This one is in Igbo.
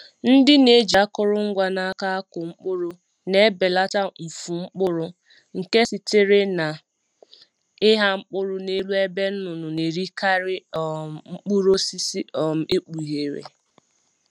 Ndị na-eji akụrụngwa n’aka akụ mkpụrụ na-ebelata mfu mkpụrụ nke sitere na ịgha mkpụrụ n'elu ebe nnụnụ na-erikarị um mkpụrụ osisi um ekpughere.